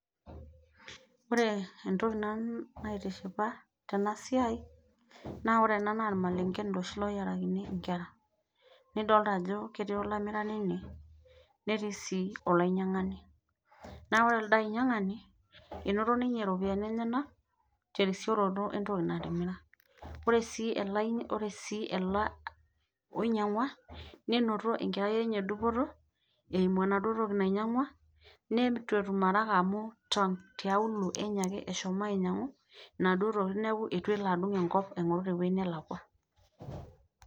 Ore nanu entoki naitishipa tena siai, naa ore ena naa iloshi malengen oo yiarakini inkera. Nidolita ajo ketii olamirani ine netii sii olainyiangani. Naa ore elde ainyiangani enoto ninye iropiyiani enyanak terisioroti entoki natimira ore sii ele onyiangua nenoto erai enye dupoto eimu ena enaduo toki nanyiangua neitu etom araka amu tiaulu enye ake eshoma ainyiangu inaduo tokitin neeku eitu elo adung enkop aingoru teoji nelakua.